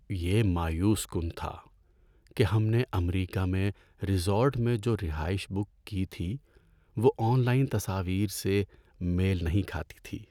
یہ مایوس کن تھا کہ ہم نے امریکہ میں ریزورٹ میں جو رہائش بک کی تھی وہ آن لائن تصاویر سے میل نہیں کھاتی تھی۔